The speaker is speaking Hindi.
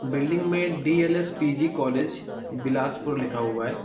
बिल्डिंग में डी.एल.एस.पी.जी कॉलेज बिलासपुर लिखा हुआ है।